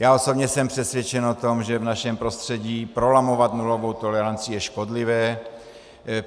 Já osobně jsem přesvědčen o tom, že v našem prostředí prolamovat nulovou toleranci je škodlivé.